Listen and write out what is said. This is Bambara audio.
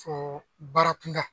Fɔ baara kunda